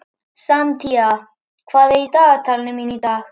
Santía, hvað er í dagatalinu mínu í dag?